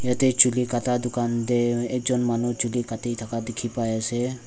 ete chuli kata dukan tae ekjon manu chuki kati thaka dekhi pai ase.